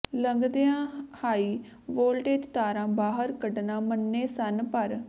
ਲੰਘਦੀਆ high voltage ਤਾਰਾਂ ਬਾਹਰ ਕੱਢਣਾ ਮੰਨੇ ਸਨ ਪਰ